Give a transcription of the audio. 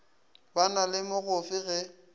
ba na le mogofe ge